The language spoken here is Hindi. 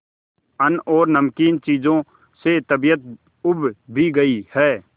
अन्न और नमकीन चीजों से तबीयत ऊब भी गई है